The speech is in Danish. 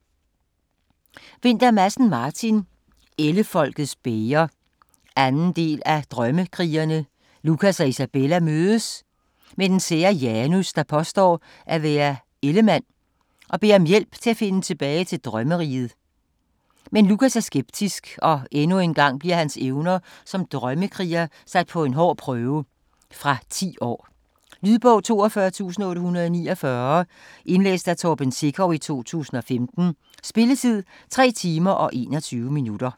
Vinther Madsen, Martin: Ellefolkets bæger 2. del af Drømmekrigerne. Lukas og Isabella møder den sære Janus, der påstår at være ellemand og beder om hjælp til at finde tilbage til drømmeriget. Men Lukas er skeptisk og endnu en gang bliver hans evner som drømmekriger sat på en hård prøve. Fra 10 år. Lydbog 42849 Indlæst af Torben Sekov, 2015. Spilletid: 3 timer, 21 minutter.